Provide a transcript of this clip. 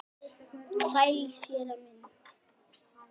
Sælir, séra minn.